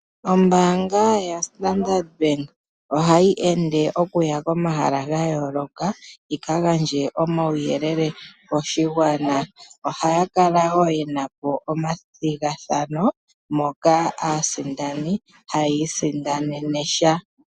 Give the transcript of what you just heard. Ombaanga ya Sandard bank ohayi ende okuya komahala ga yooloka yi ka gandje omauyelele koshigwana. Ohaya kala woo yena po omathigathano moka aasindani hayi isindanene sha.